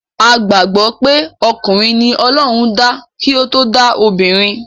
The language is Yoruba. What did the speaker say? A gbàgbọ́ pé okùnrin ni ọlọ́run dá kí o to dá obìnrin.